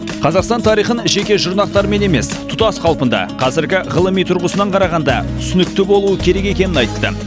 қазақстан тарихын жеке жұрнақтарымен емес тұтас қалпында қазіргі ғылыми тұрғысынан қарағанда түсінікті болуы керек екенін айтты